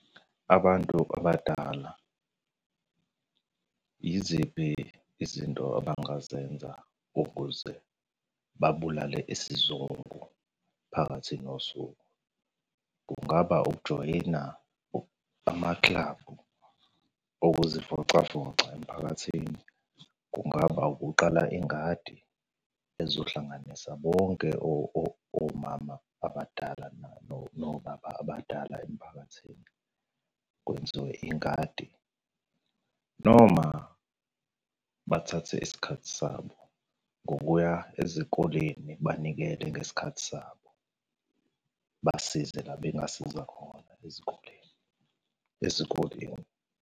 Abantu abadala yiziphi izinto abangazenza ukuze babulale isizungu phakathi nosuku? Kungaba ukujoyina amakilabhu okuzivocavoca emphakathini. Kungaba ukuqala ingadi, ezohlanganisa bonke omama abadala nobaba abadala emphakathini. Kwenziwe ingadi, noma bathathe isikhathi sabo ngokuya ezikoleni, banikele ngesikhathi sabo, basize la bengasiza khona ezikoleni ezikoleni.